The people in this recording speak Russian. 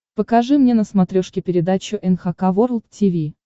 покажи мне на смотрешке передачу эн эйч кей волд ти ви